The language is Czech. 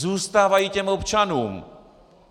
Zůstávají těm občanům!